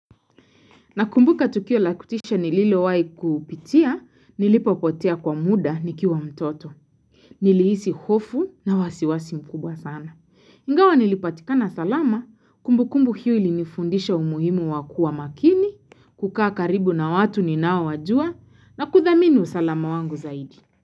Na kumbuka tukio lakutisha nililowai kupitia, nilipopotea kwa muda nikiwa mtoto. Nilihisi hofu na wasiwasi mkubwa sana. Ingawa nilipatikana salama, kumbukumbu hiyo ili nifundisha umuhimu wakuwa makini, kukaa karibu na watu ninao wajua, na kuthamini usalama wangu zaidi.